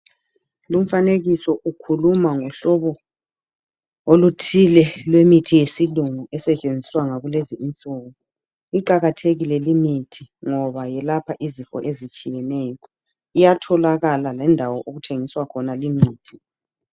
Lumfanekiso ukhuluma ngohlobo oluthile lwemithi yesilungu esetshenziswa ngakulezi insuku. Iqakathekile limithi ngoba yelapha izifo ezitshiyeneyo. Iyatholakala lendawo okuthengiswa khona limithi.